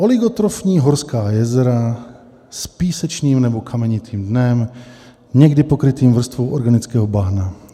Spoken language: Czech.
Oligotrofní horská jezera s písečným nebo kamenitým dnem, někdy pokrytým vrstvou organického bahna.